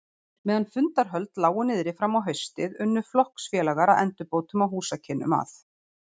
Meðan fundarhöld lágu niðri fram á haustið, unnu flokksfélagar að endurbótum á húsakynnum að